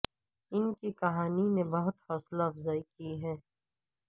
ان کی کہانی نے بہت حوصلہ افزائی کی ہے